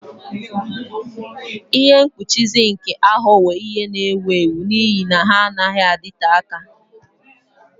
Ihe mkpuchi mkpuchi zinc aghọwo ihe na-ewu ewu n'ihi na ha anaghị adịte aka.